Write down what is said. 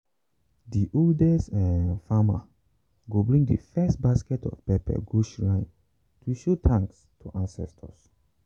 the oldest um farmer go bring the first basket of pepper go shrine to show thanks to ancestors.